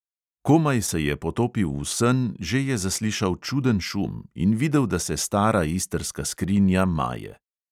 Komaj se je potopil v sen, že je zaslišal čuden šum in videl, da se stara istrska skrinja maje.